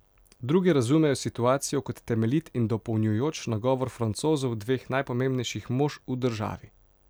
Drugi razumejo situacijo kot temeljit in dopolnjujoč nagovor Francozov dveh najpomembnejših mož v državi.